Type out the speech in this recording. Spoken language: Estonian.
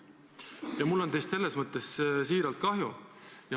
Ja mul on teist mõnes mõttes siiralt kahju.